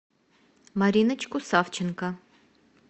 мариночку савченко